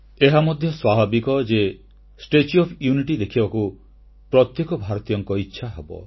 ଏହା ମଧ୍ୟ ସ୍ୱାଭାବିକ ଯେ ଷ୍ଟାଚ୍ୟୁ ଓଏଫ୍ ୟୁନିଟି ଦେଖିବାକୁ ପ୍ରତ୍ୟେକ ଭାରତୀୟଙ୍କ ଇଚ୍ଛା ହେବ